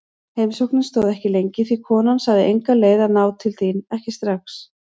Heimsóknin stóð ekki lengi því konan sagði enga leið að ná til þín, ekki strax.